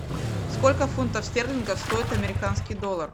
сколько фунтов стерлингов стоит американский доллар